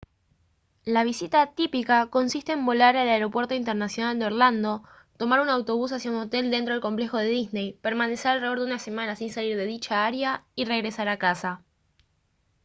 la visita «típica» consiste en volar al aeropuerto internacional de orlando tomar un autobús hacia un hotel dentro del complejo de disney permanecer alrededor de una semana sin salir de dicha área y regresar a casa